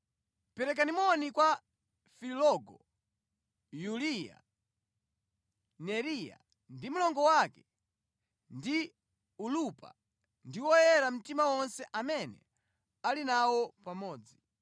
Perekani moni kwa Filologo, Yuliya, Neriya ndi mlongo wake, ndi Olumpa ndi oyera mtima onse amene ali nawo pamodzi.